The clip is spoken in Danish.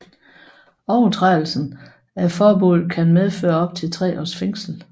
Overtrædelse af forbuddet kan medføre op til tre års fængsel